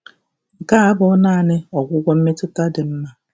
Nke a abụghị nanị ọgwụgwọ mmetụta dị mma. '